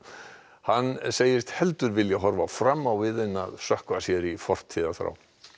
hann segist heldur vilja horfa fram á við en sökkva sér í fortíðarþrá